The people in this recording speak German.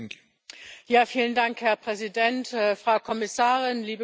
Herr Präsident, Frau Kommissarin, liebe Kolleginnen und Kollegen!